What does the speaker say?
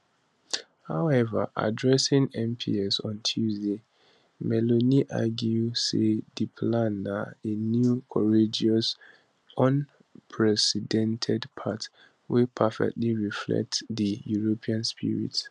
however addressing mps on tuesday meloni argue say di plan na a new courageous unprecedented path wey perfectly reflect di european spirit